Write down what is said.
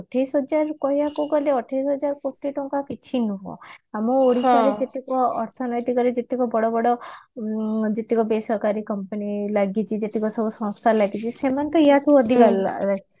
ଅଠେଇଶି ହଜାର କହିବା କୁ ଗଲେ ଅଠେଇଶି ହଜାର କୋଟି ଟଙ୍କା କିଛି ନୁହଁ ଆମ ଓଡିଶାରେ କେତେକ ଅର୍ଥନୈତିକରେ ଯେତେକ ବଡବଡ ଉଁ ଯେତେକ ବେଶରକାରୀ company ଲାଗିଛି ଯେତେକସବୁ ସଂସ୍ଥା ଲାଗିଛି ସେମାନେ ତ ୟାଠୁ ଅଧିକ